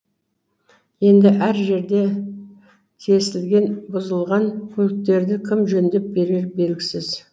енді әр жерде тесілген бұзылған көліктерді кім жөндеп берері белгісіз